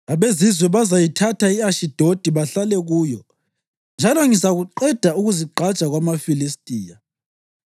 Abezizwe bazayithatha i-Ashidodi bahlale kuyo, njalo ngizakuqeda ukuzigqaja kwamaFilistiya.